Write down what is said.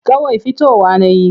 Kawai fitowa na yi.